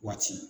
Waati